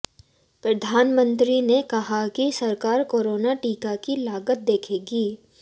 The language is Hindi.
प्रधानमंत्री ने कहा कि सरकार कोरोना टीका की लागत देखेगी